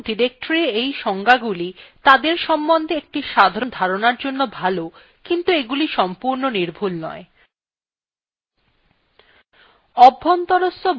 যদিও files এবং ডিরেক্টরীর এই সংজ্ঞাগুলি তাদের সম্বন্ধে একটি সাধারণ ধারণার জন্য ভাল কিন্তু এগুলি সংপূর্ণ নির্ভূল নয়